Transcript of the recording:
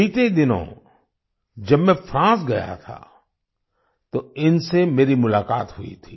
बीते दिनों जब मैं फ्रांस गया था तो इनसे मेरी मुलाकात हुई थी